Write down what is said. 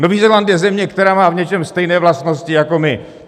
Nový Zéland je země, která má v něčem stejné vlastnosti jako my.